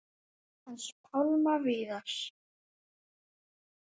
Hans Pálma Viðars.